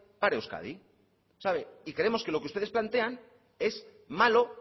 para euskadi sabe y creemos que lo que ustedes plantean es malo